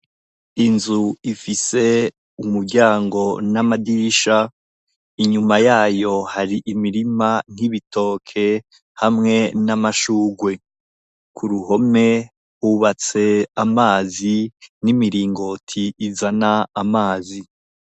Inzu ifise umuryango n'amadirisha. Inyuma yayo hari imirima y'ibitoke hamwe n'amashurwe. Ku ruhome hubatse amazi n'imiringoti izana amazi.